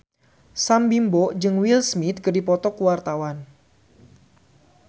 Sam Bimbo jeung Will Smith keur dipoto ku wartawan